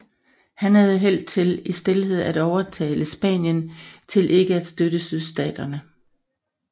Han havde held til i stilhed at overtale Spanien til ikke at støtte Sydstaterne